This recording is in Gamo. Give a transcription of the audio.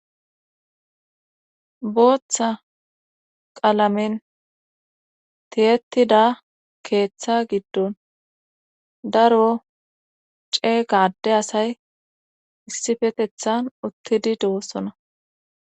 Booththa qalamen tiyettida keeththa giddon daro ceeqa ade asay issifetethan uttidi dewossona